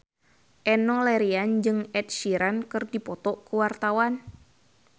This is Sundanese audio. Enno Lerian jeung Ed Sheeran keur dipoto ku wartawan